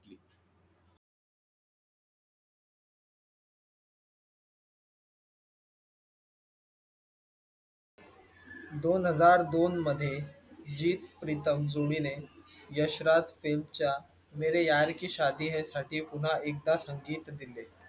दोन हजार दोन मध्ये हित प्रीतम जुई ने यशराज फिल्मच्या मेरे यार की शादी हे साठी पुन्हा एकदा संगीत दिले